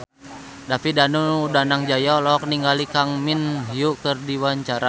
David Danu Danangjaya olohok ningali Kang Min Hyuk keur diwawancara